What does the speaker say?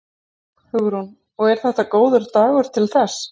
Hugrún: Og er þetta góður dagur til þess?